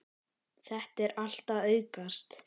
Þetta er allt að aukast.